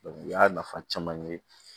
u y'a nafa caman ye